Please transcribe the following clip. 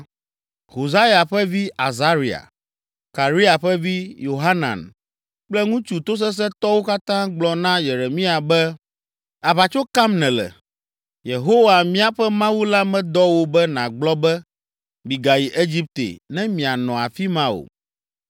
Hosaya ƒe vi, Azaria, Karea ƒe vi, Yohanan kple ŋutsu tosesẽtɔwo katã gblɔ na Yeremia be, “Aʋatso kam nèle! Yehowa, míaƒe Mawu la medɔ wò be nàgblɔ be, ‘Migayi Egipte, ne mianɔ afi ma o.’